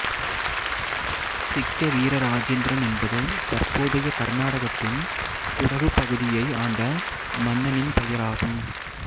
சிக்கவீர ராஜேந்திரன் என்பது தற்போதைய கர்நாடகத்தின் குடகு பகுதியை ஆண்ட மன்னனின் பெயராகும்